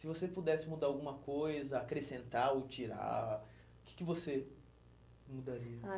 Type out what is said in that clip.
Se você pudesse mudar alguma coisa, acrescentar ou tirar, o que que você mudaria? Ah